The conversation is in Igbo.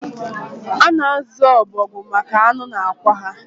A na-azu ọbọgwụ maka anụ na akwa ha